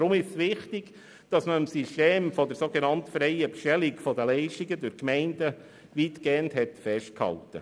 Deswegen ist es wichtig, dass man am System der sogenannt freien Bestellung der Leistungen durch die Gemeinden weitgehend festgehalten hat.